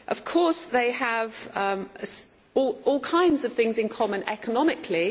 Of course they have all kinds of things in common economically.